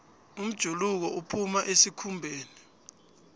umjuluko uphuma esikhumbeni